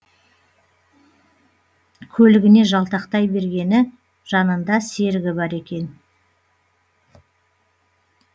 көлігіне жалтақтай бергені жанында серігі бар екен